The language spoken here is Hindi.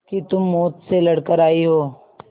कि तुम मौत से लड़कर आयी हो